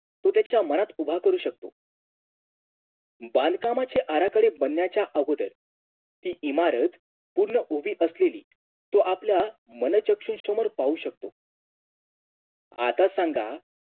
तोच त्याच्या मनात उभा करू शकतो बांधकामाचे आराखडे बनण्याच्या आगोदर ते इमारत पूर्ण उभी असलेली तो आपल्या मनोचक्षुमोर पाहू शकतो आता सांगा